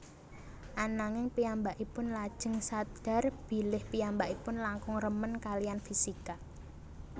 Ananging piyambakipun lajeng sadhar bilih piyambakipun langkung remen kaliyan fisika